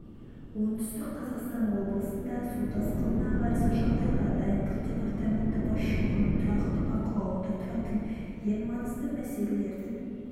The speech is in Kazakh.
оңтүстік қазақстан облысында су тасқынына қарсы жағдайға дайындық департаменті басшылығының тұрақты бақылауында тұратын ең маңызды мәселелердің